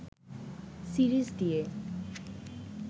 series দিয়ে